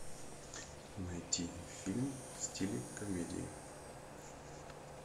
найти фильм в стиле комедии